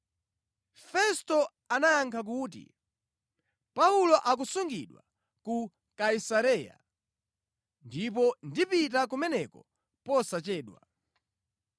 Festo anayankha kuti, “Paulo akusungidwa ku Kaisareya, ndipo ndipita kumeneko posachedwa.